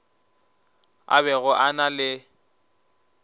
a bego a na le